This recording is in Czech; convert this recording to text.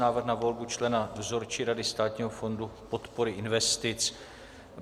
Návrh na volbu člena Dozorčí rady Státního fondu podpory investic